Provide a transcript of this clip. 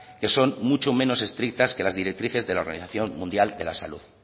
que son mucho menos estrictas que las directrices de la organización mundial de la salud